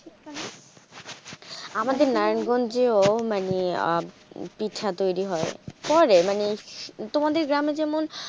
আমাদের নারায়ণগঞ্জেও মানে পিঠা তৈরি হয় করে মানে তোমাদের গ্রামে যেমন,